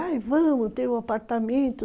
Ai, vamos, tem um apartamento.